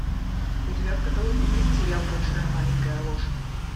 у тебя в каталоге есть сериал большая маленькая ложь